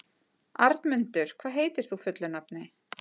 Arnmundur, hvað heitir þú fullu nafni?